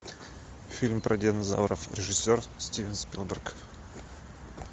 фильм про динозавров режиссер стивен спилберг